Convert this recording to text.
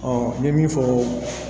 n bɛ min fɔ